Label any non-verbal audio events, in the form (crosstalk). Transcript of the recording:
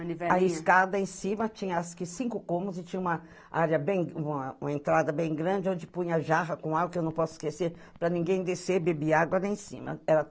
(unintelligible) A escada em cima tinha acho cinco cômodos e tinha uma área, uma uma entrada bem grande onde punha jarra com água, que eu não posso esquecer, para ninguém descer e beber água lá em cima. Era